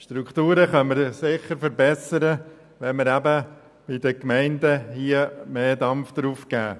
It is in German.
Strukturen können wir sicher verbessern, wenn wir bei den Gemeinden «mehr Dampf» geben.